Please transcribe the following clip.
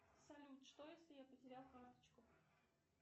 салют что если я потерял карточку